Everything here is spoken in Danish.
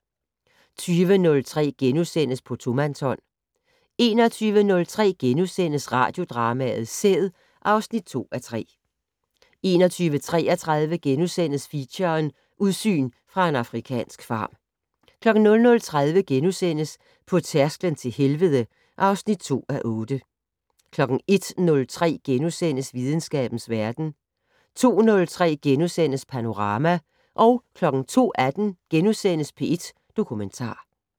20:03: På tomandshånd * 21:03: Radiodrama: Sæd (2:3)* 21:33: Feature: Udsyn fra en afrikansk farm * 00:30: På tærsklen til helvede (2:8)* 01:03: Videnskabens Verden * 02:03: Panorama * 02:18: P1 Dokumentar *